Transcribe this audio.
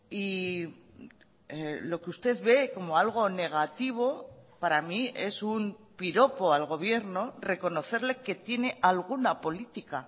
y lo que usted ve como algo negativo para mí es un piropo al gobierno reconocerle que tiene alguna política